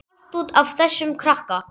Allt út af þessum krakka.